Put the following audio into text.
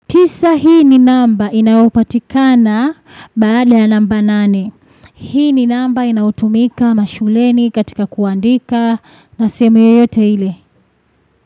Tisa, hii ni namba inayopatikana baada ya namba nane. Hii ni namba inayotumika mashuleni, katika kuandika na sehemu yoyote ile.